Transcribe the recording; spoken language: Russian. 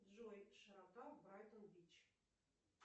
джой широта брайтон бич